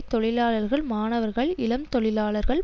தொழிலாளர்கள் மாணவர்கள் இளம் தொழிலாளர்கள்